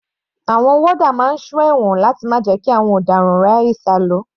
Àwọn warder máa ń sọ ẹ̀wọ̀n láti má jẹ́ kí àwọn ọ̀daràn rí àyè sálọ.